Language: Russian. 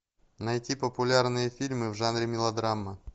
найти популярные фильмы в жанре мелодрама